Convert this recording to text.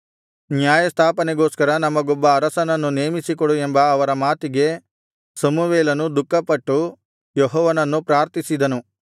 ನ್ಯಾಯಸ್ಥಾಪನೆಗೋಸ್ಕರ ನಮಗೊಬ್ಬ ಅರಸನನ್ನು ನೇಮಿಸಿಕೊಡು ಎಂಬ ಅವರ ಮಾತಿಗೆ ಸಮುವೇಲನು ದುಃಖಪಟ್ಟು ಯೆಹೋವನನ್ನು ಪ್ರಾರ್ಥಿಸಿದನು